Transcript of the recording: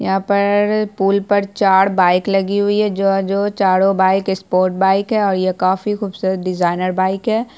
यहाँ पर पुल पर चार बाइक लगी हुई हैं जो जो चारों बाइक स्पोर्ट बाइक है और यह काफी खूबसूरत डिज़ाइनर बाइक है।